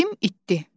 İtim itdi.